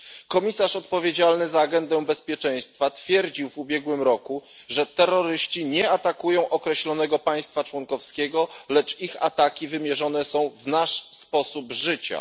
Komisarz odpowiedzialny za agendę bezpieczeństwa twierdził w ubiegłym roku, że terroryści nie atakują określonego państwa członkowskiego, lecz ich ataki wymierzone są w nasz sposób życia.